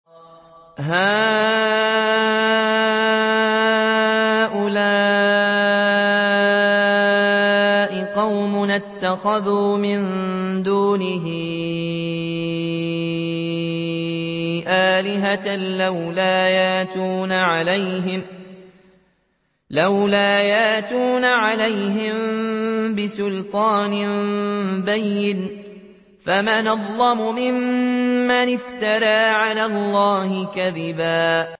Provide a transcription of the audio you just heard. هَٰؤُلَاءِ قَوْمُنَا اتَّخَذُوا مِن دُونِهِ آلِهَةً ۖ لَّوْلَا يَأْتُونَ عَلَيْهِم بِسُلْطَانٍ بَيِّنٍ ۖ فَمَنْ أَظْلَمُ مِمَّنِ افْتَرَىٰ عَلَى اللَّهِ كَذِبًا